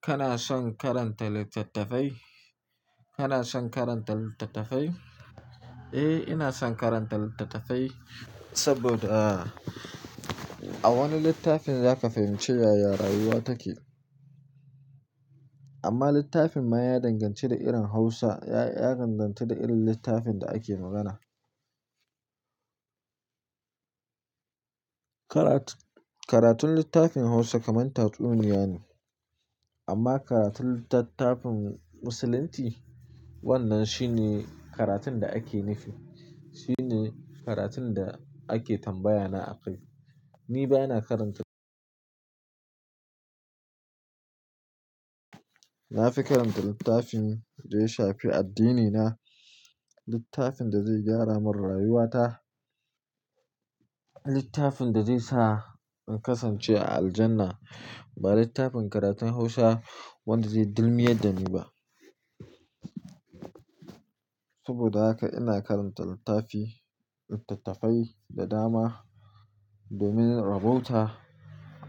Kana son karanta littattafai? Kana son karanta littattafai? Eh, ina son karanta littattafai saboda a wani littafin zaka fahimci yaya rayuwa take. Amma littafin ma ya danganci da irin Hausa, ya-ya danganta da irin littafin da ake magana. Karat- karatun littafin Hausa kamar tatsuniya ne, amma karatun littattafin musulunci, wannan shine karatun da ake nufi. Shine karatun da ake tambaya na a kai. Ni baya na karanta. Nafi karanta littafin da ya shafe addini na, littafin da zai gyara mun rayuwata, littafin da zai sa in kasance a aljanna, ba littafin karatun Hausa wanda zai dilmiyar da ni ba. Saboda haka ina karanta littafi, littattafai da dama domin rabonta